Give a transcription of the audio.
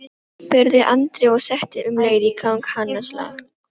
spurði Andri og setti um leið í gang hanaslag.